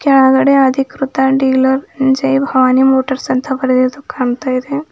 ಕೆಳಗಡೆ ಅಧಿಕೃತ dealer Jai Bhavani Motors ಅಂತ ಬರೆದಿದ್ದು ಕಾಣ್ತಾ ಇದೆ.